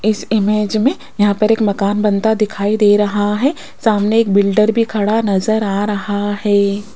इस इमेज मे यहां पर एक मकान बनता दिखाई दे रहा है सामने एक बिल्डर भी खड़ा नज़र आ रहा है।